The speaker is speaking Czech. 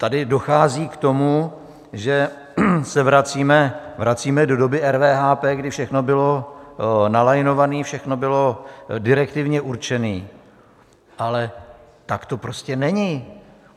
Tady dochází k tomu, že se vracíme do doby RVHP, kdy všechno bylo nalajnováno, všechno bylo direktivně určeno, ale tak to prostě není.